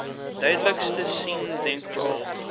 duidelikste sein denkbaar